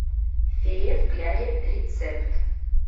филе в кляре рецепт